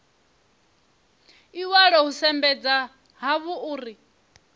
iwalo hu sumbedza hafhu uri